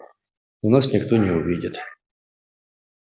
но нас никто не увидит